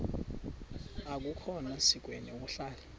akukhona sikweni ukuhlala